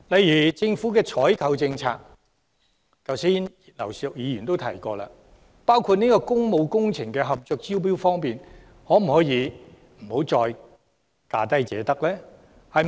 以政府的採購政策為例，正如剛才葉劉淑儀議員提到，工務工程合約可否不再以價低者得的方式進行招標？